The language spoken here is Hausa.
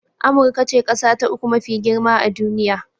Amurka ce ƙasa ta uku mafi girma a duniya